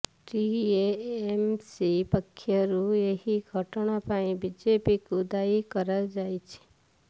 TMC ପକ୍ଷରୁ ଏହି ଘଟଣା ପାଇଁ ବିଜେପିକୁ ଦାୟୀ କରାଯାଇଛି